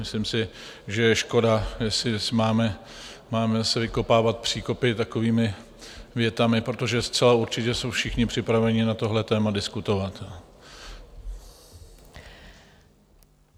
Myslím si, že je škoda, jestli máme zase vykopávat příkopy takovými větami, protože zcela určitě jsou všichni připraveni na tohle téma diskutovat.